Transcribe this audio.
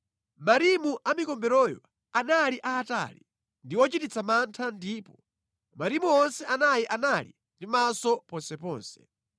Marimu a mikomberoyo anali aatali ndi ochititsa mantha ndipo marimu onse anayi anali ndi maso ponseponse.